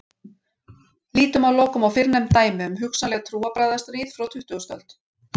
Lítum að lokum á fyrrnefnd dæmi um hugsanleg trúarbragðastríð frá tuttugustu öld.